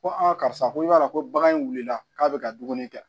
Ko karisa ko i b'a dɔn ko bagan in wulila k'a bɛ ka dumuni kɛ